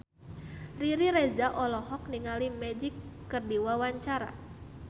Riri Reza olohok ningali Magic keur diwawancara